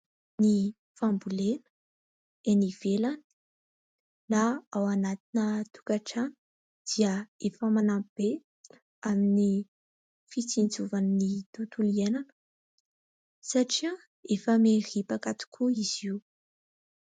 Ny fambolena eny ivelany na ao anatina tokantrano dia efa manampy be amin'ny fitsinjovan'ny tontolo iainana satria efa miripaka tokoa izy io.